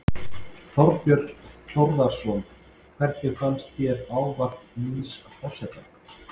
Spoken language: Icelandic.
Þorbjörn Þórðarson: Hvernig fannst þér ávarp nýs forseta?